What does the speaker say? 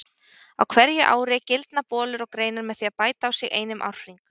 Á hverju ári gildna bolur og greinar með því að bæta á sig einum árhring.